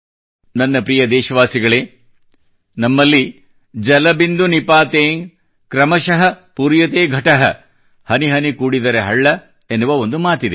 ನನ್ನ ಪ್ರೀತಿಯ ದೇಶವಾಸಿಗಳೇ ನಮ್ಮಲ್ಲಿ ಜಲಬಿಂದು ನಿಪಾತೇನ ಕ್ರಮಶಃ ಪೂರ್ಯತೇ ಘಟಃ ಹನಿಹನಿಗೂಡಿದರೆ ಹಳ್ಳʼ ಎನ್ನುವ ಒಂದು ಮಾತಿದೆ